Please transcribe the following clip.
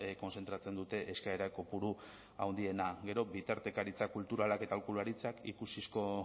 kontzentratzen dute eskaera kopuru handiena gero bitartekaritza kulturalak eta aholkularitzak ikusizko